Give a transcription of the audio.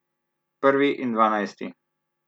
Prvi in dvanajsti!